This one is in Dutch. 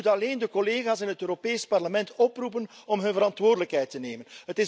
Ik moet alleen de collega's in het Europees Parlement oproepen om hun verantwoordelijkheid te nemen.